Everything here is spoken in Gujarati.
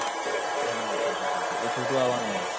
હા છોટુ છોટુ એ છોટુ આવવાનો છે